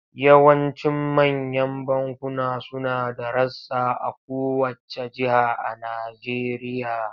Yawancin manyan bankuna suna da rassa a kowacce jiha a Najeriya.